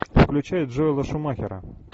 включай джоэла шумахера